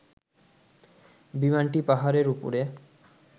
বিমানটি পাহাড়ের উপরে